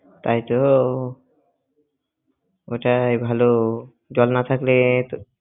তাইতো ওইটাই ভালো জল না থাকলে